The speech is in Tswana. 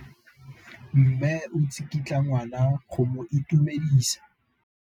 Mme o tsikitla ngwana go mo itumedisa.